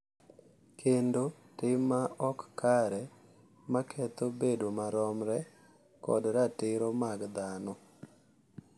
Kendo tim ma ok kare ma ketho bedo maromre kod ratiro mag dhano.